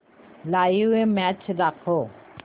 live match दाखव